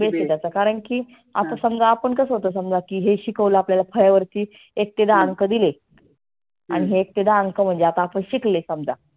basic कारण की आता समजा आपण कसं होतो समजा की हे शिकवल आपल्याला फळ्यावरती एक ते दहा अंक दिले. आणि हे एक ते दहा अंक म्हणजे आता आपण शिकले समजा